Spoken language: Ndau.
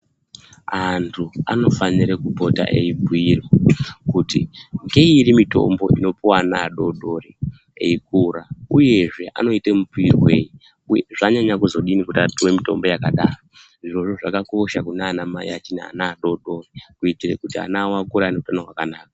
Antu ano fanire kupota eyi bhuyirwe kuti ngeiri mitombo ino puwa ana adodori eikura uyezve anoite mupuwirwei uye zvanyanya kuzodi kuti apihwe mitombo yakadaro izvozvo zvakakosha kunana mai achiri ne ana adodori kuitire kuti ana awo akure aine utanho hwaka naka.